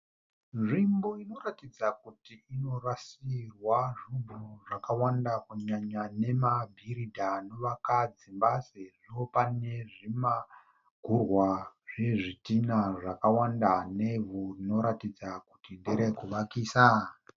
Nzvimbo inoratidza kuti inorasirwa zvinhu zvakawanda kunyanya nemabhiridha anovaka dzimba, sezvo paine zvimagurwa zvezvidhinha zvakawanda nevhu rinoratidza kuti nderekuvakisa.